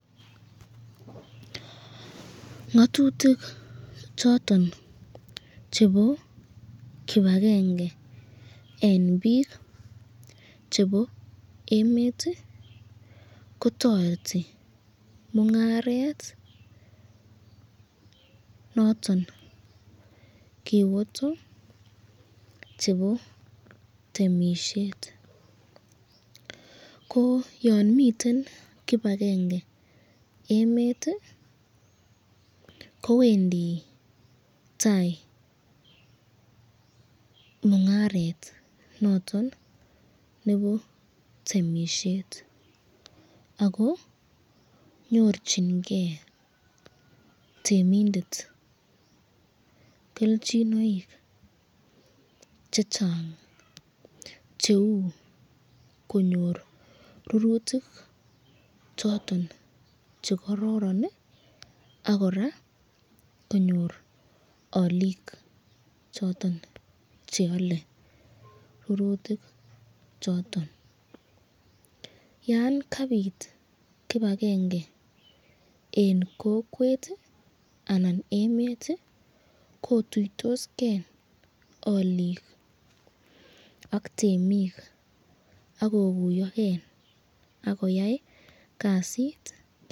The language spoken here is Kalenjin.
Ngatutik choton chebo kibakenge eng bik chebo emet kotoreti mungaret noton kiboto chebo temisyet, ko yan miten kibakenge emet kowendi tai mungaret noton nebo temisyet, ako nyorchinken temindet kelchinoik chechang cheu konyor rurutik choton chekororon ak koraa konyor alikua choton cheale rurutik choton, yan kabit kibakenge eng kokwet anan emet kotuitosken alikua ak temik akokuyoken akoyai kasit.